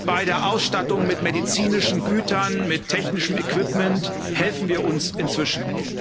Bei der Ausstattung mit medizinischen Gütern, mit technischem Equipment helfen wir uns inzwischen.